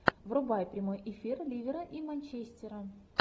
врубай прямой эфир ливера и манчестера